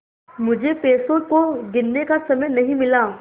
मुझे पैसों को गिनने का समय नहीं मिला